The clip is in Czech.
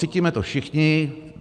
Cítíme to všichni.